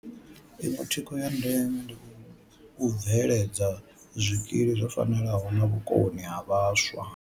Iṅwe thikho ya ndeme ndi u bveledza zwikili zwo fanelaho na vhukoni ha vhaswa.